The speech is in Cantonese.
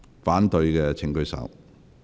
反對的請舉手。